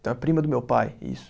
Então é prima do meu pai, isso.